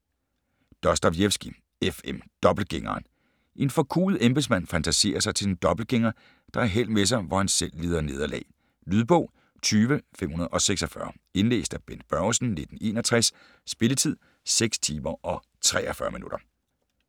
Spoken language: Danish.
Dostojevskij, F. M.: Dobbeltgængeren En forkuet embedsmand fantaserer sig til en dobbeltgænger, der har held med sig, hvor han selv lider nederlag. Lydbog 20546 Indlæst af Bent Børgesen, 1961. Spilletid: 6 timer, 43 minutter.